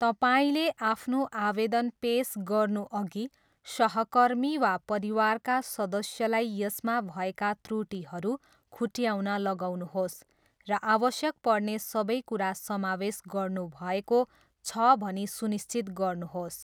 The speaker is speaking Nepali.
तपाईँले आफ्नो आवेदन पेस गर्नुअघि, सहकर्मी वा परिवारका सदस्यलाई यसमा भएका त्रुटिहरू खुट्ट्याउन लगाउनुहोस् र आवश्यक पर्ने सबै कुरा समावेश गर्नुभएको छ भनी सुनिश्चित गर्नुहोस्।